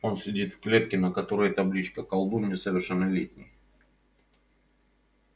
он сидит в клетке на которой табличка колдун несовершеннолетний